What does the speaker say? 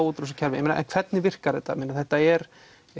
út úr þessu kerfi en hvernig virkar þetta þetta er